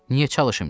Niyə çalışım ki?